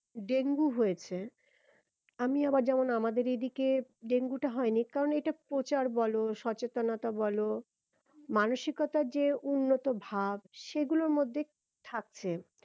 dengue হয়েছে আমি আবার যেমন আমাদের এই দিকে ডেঙ্গু টা হয়নি কারণ এটার প্রচার বলো সচেতনতা বলো মানসিকতার যে উন্নত ভাব সেগুলোর মধ্যে থাকছে